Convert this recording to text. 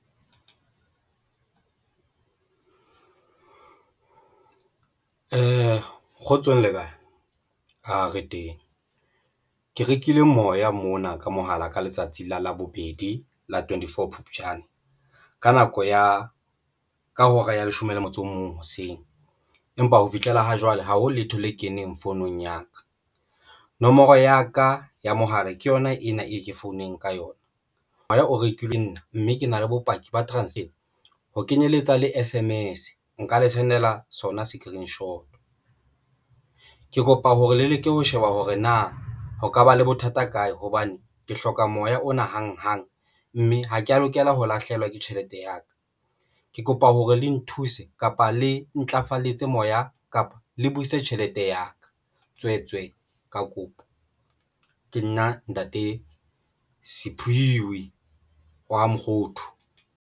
Kgotsong le kae, re teng ke rekile moya mona ka mohala ka letsatsi la labobedi la twenty four Phupjane, ka nako ya ka hora ya leshome le motso o mong hoseng, empa ho fihlela ha jwale ha ho letho le keneng founung ya ka. Nomoro ya ka ya mohala ke yona ena e ke founeng ka yona. Moya o rekile nna mme ke na le bopaki ba transito ho kenyeletsa le S_M_S. Nka le sendela sona screenshot. Ke kopa hore le leke ho sheba hore na ho ka ba le bothata kae hobane ke hloka moya ona hang hang, mme ha ke ya lokela ho lahlehelwa ke tjhelete ya ka, ke kopa hore le nthuse kapa le ntlafaletso moya kapa le buise tjhelete ya ka tswetswe, ka kopo ke nna ntate Siphiwe wa ha Mokgothu.